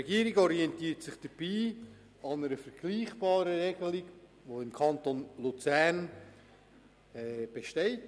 Die Regierung orientiert sich dabei an einer vergleichbaren Regelung, wie sie im Kanton Luzern gilt.